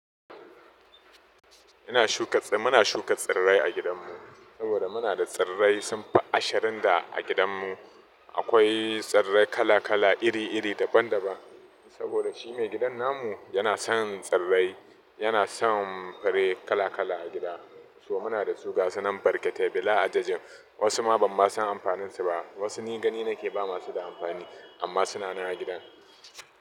Ina shuka muna shuka tsirrai a gidanmu saboda muna da tsirrai sun fi ashirin da a gidanmu. Akwai tsirrai kala kala, iri iri daban daban. Saboda shi maigidan namu yana son tsirrai, yana son fure kala kala a gida. So muna da su gasa nan barkete bila adadin. Wasu ma ban ma san amfanin su ba. Wasu ni gani nake ba masu da amfani amma suna nan a gidan.